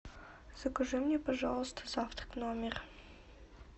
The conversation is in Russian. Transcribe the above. закажи мне пожалуйста завтрак в номер